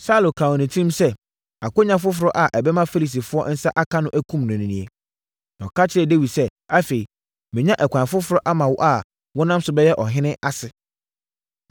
Saulo kaa wɔ ne tirim sɛ, “Akwannya foforɔ a ɛbɛma Filistifoɔ nsa aka no akum no nie.” Na ɔka kyerɛɛ Dawid sɛ, “Afei, manya ɛkwan foforɔ ama wo a wonam so bɛyɛ ɔhene ase.”